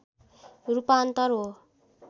रूपान्तर हो